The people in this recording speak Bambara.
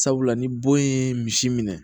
Sabula ni bon ye misi minɛ